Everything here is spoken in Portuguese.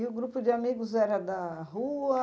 E o grupo de amigos era da rua?